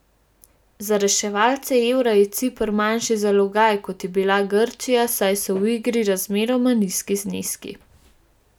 Za reševalce evra je Ciper manjši zalogaj, kot je bila Grčija, saj so v igri razmeroma nizki zneski.